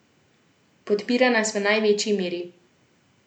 Podpira nas v največji meri.